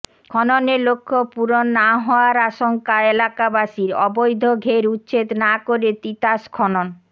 খননের লক্ষ্য পূরণ না হওয়ার আশঙ্কা এলাকাবাসীর অবৈধ ঘের উচ্ছেদ না করে তিতাস খনন